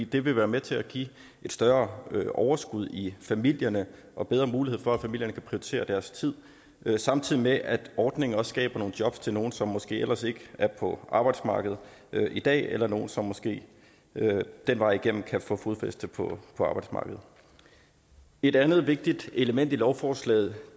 det vil være med til at give et større overskud i familierne og bedre mulighed for at familierne kan prioritere deres tid samtidig med at ordningen også skaber nogle jobs til nogle som måske ellers ikke er på arbejdsmarkedet i dag eller nogle som måske den vej igennem kan få fodfæste på arbejdsmarkedet et andet vigtigt element i lovforslaget